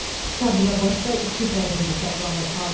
Sabirabadda iki qadın bıçaqlanıb.